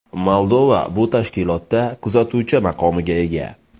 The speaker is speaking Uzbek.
Moldova bu tashkilotda kuzatuvchi maqomiga ega.